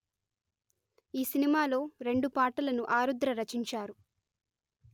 ఈ సినిమాలో రెండు పాటలను ఆరుద్ర రచించారు